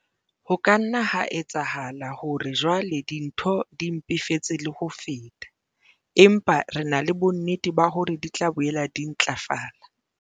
Ho ka nna ha etsahala hore jwale dintho di mpefetse le ho feta, empa re na le bonnete ba hore di tla boela di ntlafala.